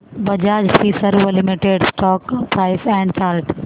Bajaj Finserv limited stock price and chart